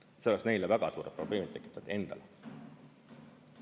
See oleks neile väga suured probleemid tekitanud endale.